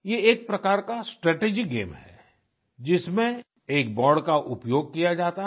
ये एक प्रकार का स्ट्रैटेजी गेम है जिसमें एक बोर्ड का उपयोग किया जाता है